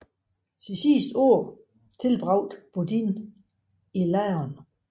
Sine sidste år tilbragte Bodin i Laon